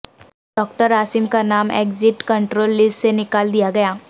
doctor Asim کا نام exit control list سے نکال دیا گیا